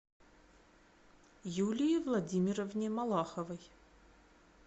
юлии владимировне малаховой